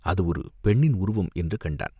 அது ஒரு பெண்ணின் உருவம் என்று கண்டான்.